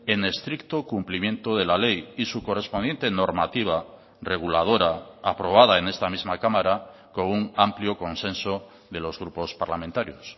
en estricto cumplimiento de la ley y su correspondiente normativa reguladora aprobada en esta misma cámara con un amplio consenso de los grupos parlamentarios